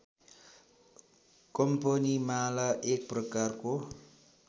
कम्पनीमाला एक प्रकारको